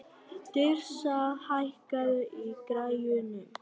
Tirsa, hækkaðu í græjunum.